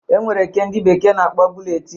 E nwere nke ndị bekee na-akpọ buletin